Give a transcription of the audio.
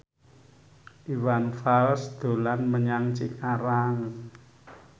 Iwan Fals dolan menyang Cikarang